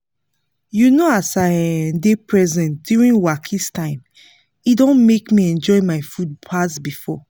you know as i um dey present during wakis time e don make me enjoy my food pass before